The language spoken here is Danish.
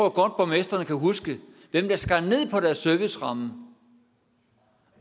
at borgmestrene kan huske hvem der skar ned på deres serviceramme